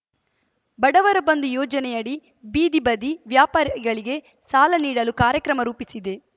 ಬಡವರ ಬಂಧು ಯೋಜನೆಯಡಿ ಬೀದಿ ಬದಿ ವ್ಯಾಪಾರಿಗಳಿಗೆ ಸಾಲ ನೀಡಲು ಕಾರ್ಯಕ್ರಮ ರೂಪಿಸಿದೆ